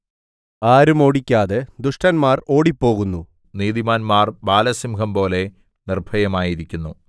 ആരും ഓടിക്കാതെ ദുഷ്ടന്മാർ ഓടിപ്പോകുന്നു നീതിമാന്മാർ ബാലസിംഹംപോലെ നിർഭയമായിരിക്കുന്നു